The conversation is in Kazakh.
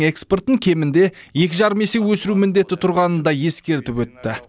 экспортын кемінде екі жарым есе өсіру міндеті тұрғанын да ескертіп өтті